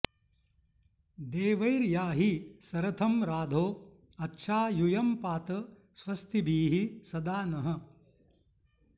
देवैर्याहि सरथं राधो अच्छा यूयं पात स्वस्तिभिः सदा नः